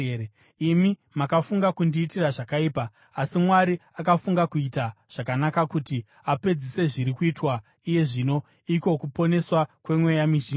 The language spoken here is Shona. Imi makafunga kundiitira zvakaipa, asi Mwari akafunga kuita zvakanaka kuti apedzise zviri kuitwa iye zvino, iko kuponeswa kwemweya mizhinji.